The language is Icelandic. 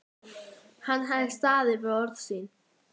Hann hafði staðið við orð sín.